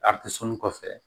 kɔfɛ